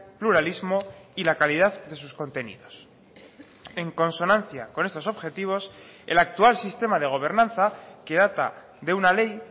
pluralismo y la calidad de sus contenidos en consonancia con estos objetivos el actual sistema de gobernanza que data de una ley